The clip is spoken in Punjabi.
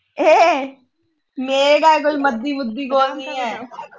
ਇਹ ਹ ਮੇਰੇ ਘਰ ਕੋਈ ਮਦੀ ਮੁਦੀ ਕੋਲ ਨਹੀਂ ਆ